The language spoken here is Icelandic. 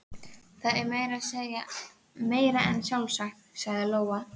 Það er meira en sjálfsagt, sagði Lóa.